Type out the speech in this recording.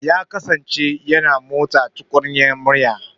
Ya kasance yana motsa tukunyar miya.